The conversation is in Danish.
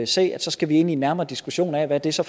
se at så skal vi ind i en nærmere diskussion af hvad det så